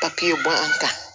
papiyew bɔ an kan